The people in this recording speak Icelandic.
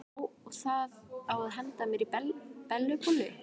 Já, og það á að henda mér í Bellu bollu.